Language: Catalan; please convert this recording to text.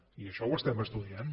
i això ho estem estudiant